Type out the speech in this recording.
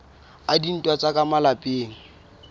a dintwa tsa ka malapeng